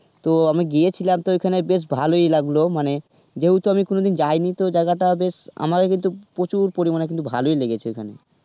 তো আমি গিয়েছিলাম তো ওইখানে বেশ ভালোই লাগলো মানে যেহেতু আমি কোনোদিন যায়নি তো জায়গায়টা বেশ আমাকে কিন্তু প্রচুর পরিমানে কিন্তু ভালোই লেগেছে খানে.